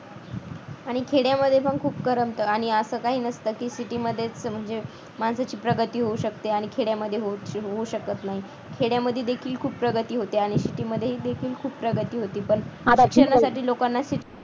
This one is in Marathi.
आणि खेड्यामध्ये पण खूप करमत आणि आणि असं काही नसतं की city मध्ये खूप मध्येच म्हणजे माणसाची प्रगती होऊ शकते आणि खेड्यामध्ये होऊ शकत नाही खेड्यामध्ये देखील खूप प्रगती होते आणि city मध्ये देखील खूप प्रगती होते. शिक्षणासाठी लोकांना